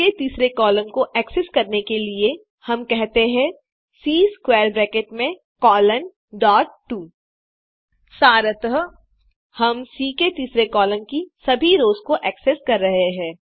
सी के तीसरे कॉलम को एक्सेस करने के लिए हम कहते हैं सी स्क्वैर ब्रैकेट में कोलोन डॉट 2 सारतः हम सी के तीसरे कॉलम की सभी रोस को एक्सेस कर रहे हैं